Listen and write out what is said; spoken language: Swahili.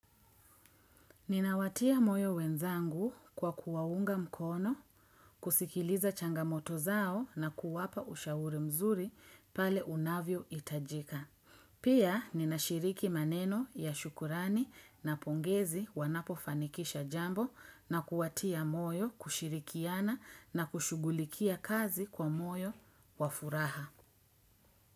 Ninawatia moyo wenzangu kwa kuwaunga mkono, kusikiliza changamoto zao na kuwapa ushauri mzuri pale unavyo itajika. Pia ninashiriki maneno ya shukrani na pongezi wanapofanikisha jambo na kuwatia moyo kushirikiana na kushugulikia kazi kwa moyo wa furaha.